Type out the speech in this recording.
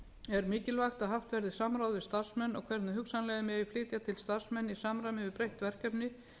er mikilvægt að haft verði samráð við starfsmenn og hvernig hugsanlega megi flytja til starfsmenn í samræmi við breytt verkefni